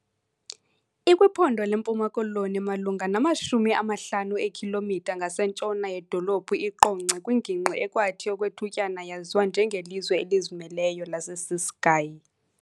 IkwiPhondo leMpuma Koloni malunga namashumi amahlanu eekhilomitha ngasentshona yedolophu iQonce kwingingqi ekwathi okwethutyana yaziwa njengelizwe "elizimeleyo" laseCiskei.